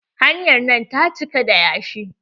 Hanyar nan ta cika da yashi.